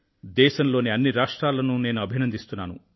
దేశంలోని అన్ని రాష్ట్రాలనూ నేను అభినందిస్తున్నాను